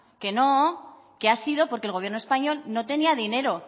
que no que ha sido porque el gobierno español no tenía dinero